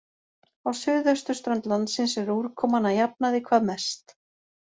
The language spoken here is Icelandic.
Á suðausturströnd landsins er úrkoman að jafnaði hvað mest.